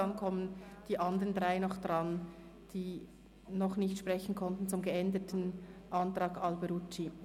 Dann kommen nochmals die anderen drei Fraktionen an die Reihe, die zum Abänderungsantrag Alberucci noch nicht sprechen konnten.